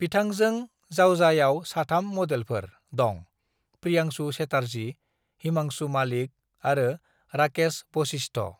"बिथांजों जावजायाव साथाम मडेलफोर दं: प्रियांशु चेटार्जी, हिमांशु मालिक आरो राकेश वशिष्ठ।"